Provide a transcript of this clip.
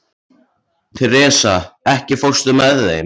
Teresa, ekki fórstu með þeim?